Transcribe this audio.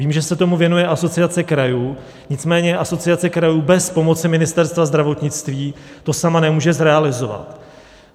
Vím, že se tomu věnuje Asociace krajů, nicméně Asociace krajů bez pomoci Ministerstva zdravotnictví to sama nemůže zrealizovat.